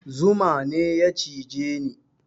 Zuma ne ya cije ni